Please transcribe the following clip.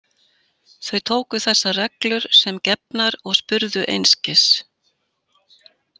Þau tóku þessar reglur sem gefnar og spurðu einskis.